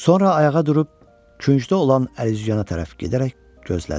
Sonra ayağa durub küncdə olan əlüzyana tərəf gedərək gözlədi.